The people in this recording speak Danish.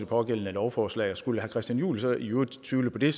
pågældende lovforslag skulle herre christian juhl så i øvrigt tvivle på det